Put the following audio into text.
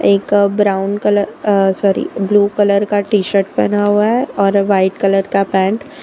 एक brown colour uh sorry blue colour का T shirt पहना हुआ है और वाइट कलर का पैंट ।